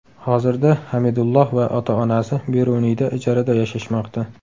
Hozirda Hamidulloh va ota onasi Beruniyda ijarada yashashmoqda.